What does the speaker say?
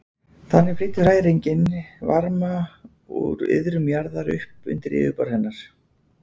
Þannig flytur hræringin varma úr iðrum jarðar upp undir yfirborð hennar.